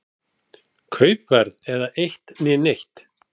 Kaupverð eða eitt né neitt.